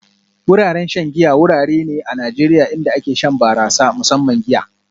Wuraren shan giya wurare ne a Najeriya inda ake shan barasa, musamman giya